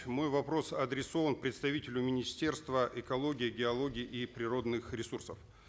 мой вопрос адресован представителю министерства экологии и геологии и природных ресурсов